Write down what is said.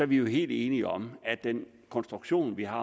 vi helt enige om at den konstruktion vi har